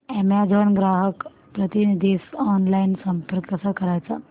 Amazon ग्राहक प्रतिनिधीस online संपर्क कसा करायचा